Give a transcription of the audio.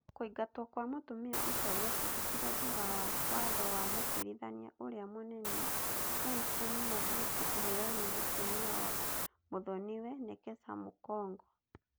Kũingatwo kwa mũtumia ũcio gwekĩkire thutha wa watho wa Mũcirithania ũrĩa Mũnene Johnstone Munguti kũheo nĩ mũtumia wa mũthoniwe, Nekesa Mukhongo.